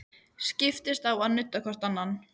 Skiptist á að nudda hvort annað.